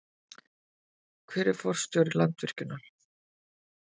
Hver er forstjóri Landsvirkjunar?